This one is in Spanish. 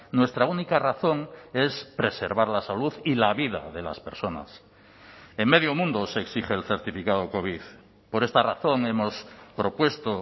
nuestra única razón es preservar la salud y la vida de las personas en medio mundo se exige el certificado covid por esta razón hemos propuesto